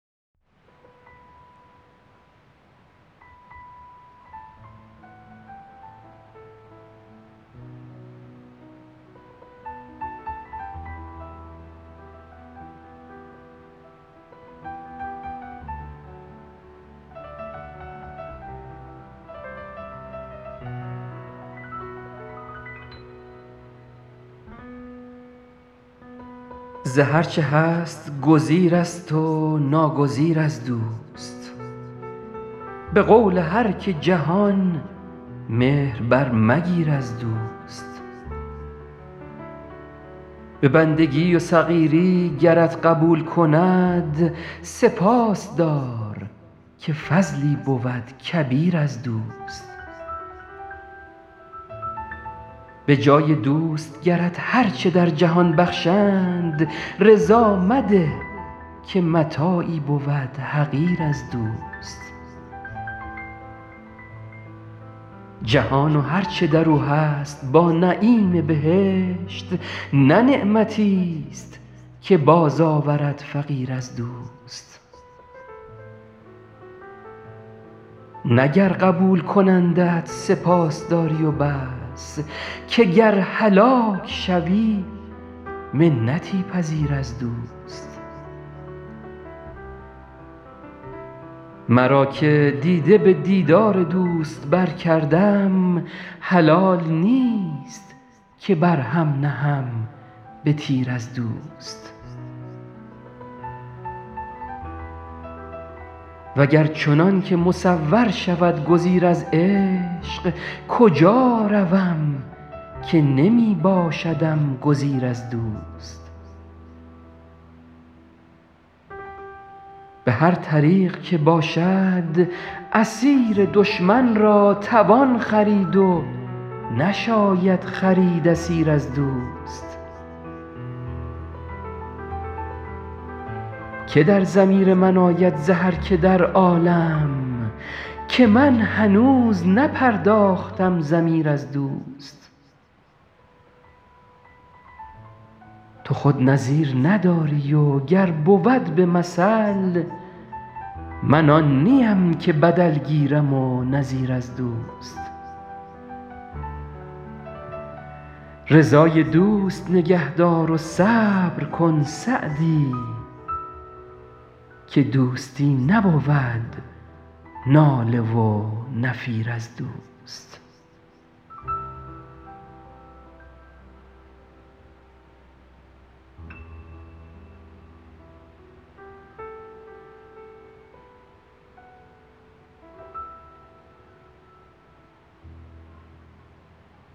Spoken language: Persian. ز هر چه هست گزیرست و ناگزیر از دوست به قول هر که جهان مهر برمگیر از دوست به بندگی و صغیری گرت قبول کند سپاس دار که فضلی بود کبیر از دوست به جای دوست گرت هر چه در جهان بخشند رضا مده که متاعی بود حقیر از دوست جهان و هر چه در او هست با نعیم بهشت نه نعمتیست که بازآورد فقیر از دوست نه گر قبول کنندت سپاس داری و بس که گر هلاک شوی منتی پذیر از دوست مرا که دیده به دیدار دوست برکردم حلال نیست که بر هم نهم به تیر از دوست و گر چنان که مصور شود گزیر از عشق کجا روم که نمی باشدم گزیر از دوست به هر طریق که باشد اسیر دشمن را توان خرید و نشاید خرید اسیر از دوست که در ضمیر من آید ز هر که در عالم که من هنوز نپرداختم ضمیر از دوست تو خود نظیر نداری و گر بود به مثل من آن نیم که بدل گیرم و نظیر از دوست رضای دوست نگه دار و صبر کن سعدی که دوستی نبود ناله و نفیر از دوست